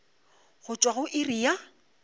go tšwa go iri ya